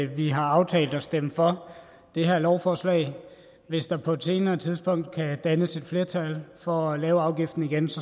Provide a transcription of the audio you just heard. vi har aftalt at stemme for det her lovforslag hvis der på et senere tidspunkt kan dannes et flertal for at lave afgiften igen